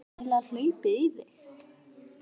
Hvað er eiginlega hlaupið í þig?